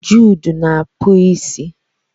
Jude na akpu isi.